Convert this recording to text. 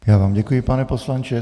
Já vám děkuji, pane poslanče.